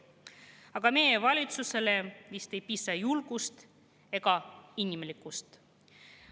Aga meie valitsusel vist ei piisa julgust ega inimlikkust.